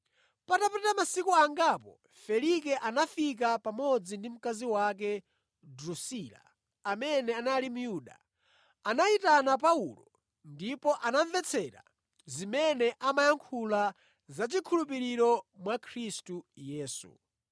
Patapita masiku angapo Felike anabwera pamodzi ndi mkazi wake Drusila, amene anali Myuda. Anayitana Paulo ndipo anamvetsera zimene amayankhula za chikhulupiriro mwa Khristu Yesu.